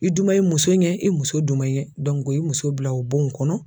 I duman i muso ye i muso duman i ye i muso bila o bon kɔnɔ